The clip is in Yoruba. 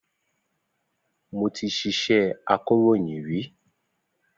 Mo ti ṣiṣẹ́ akọ̀ròyìn rí.